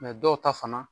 dɔw ta fana